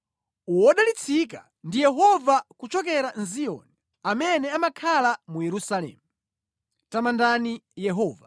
Wodalitsika ndi Yehova kuchokera mʼZiyoni, amene amakhala mu Yerusalemu. Tamandani Yehova.